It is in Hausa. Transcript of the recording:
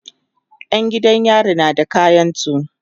Yan gidan yari na da kayansu